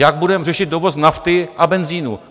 Jak budeme řešit dovoz nafty a benzinu?